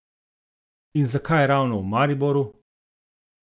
In zakaj ravno v Mariboru?